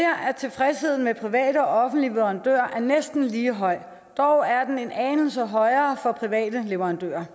at tilfredsheden med henholdsvis private og offentlige leverandører er næsten lige høj dog er den en anelse højere for private leverandører